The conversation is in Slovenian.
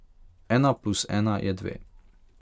Ena plus ena je dve.